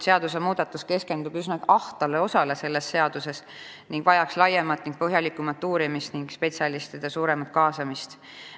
Seadusmuudatus keskendub selle seaduse üsna ahtale osale ning vajaks laiemat ja põhjalikumat uurimist ning spetsialistide suuremat kaasamist.